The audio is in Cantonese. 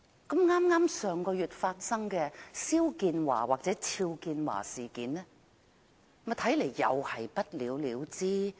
剛在上月發生的肖建華事件，看來又會不了了之。